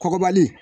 Kɔkɔbali